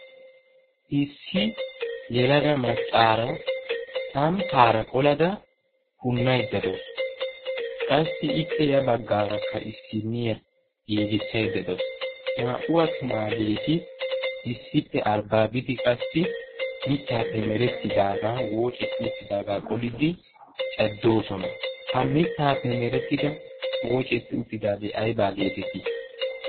issi yelaga maccaara samipaara qolada punnaiddadoosu. qassi ippe ya baggaarakka issinniya giigissaiddadoosu. naa77u attumaageeti issippe arbbaa bidi qassi mittaappe merettidaagan woocetti uttidaagaa qoliddi caddoosona. ha mittaappe merettida woocetti uttidaagee aibaa geetettii?